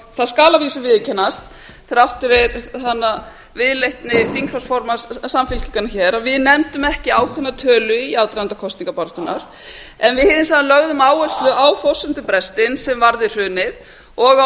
það skal að vísu viðurkennast þrátt fyrir viðleitni þingflokksformanns samfylkingarinnar hér að við nefndum ekki ákveðna tölu í aðdraganda kosningabaráttunnar en við lögðum hins vegar áherslu á forsendubrestinn sem varð við hrunið og á